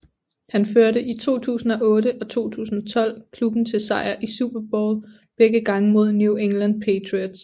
Han førte i 2008 og 2012 klubben til sejr i Super Bowl begge gange mod New England Patriots